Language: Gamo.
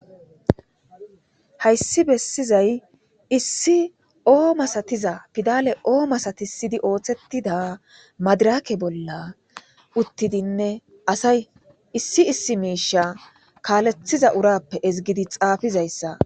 Hayssi bessizay issi oo masatiza pidale oo masatisidi ooththetida madirake bolla uttidinne asay issi issi miisha kaalethiza urappe ezigidi xaafizayssa.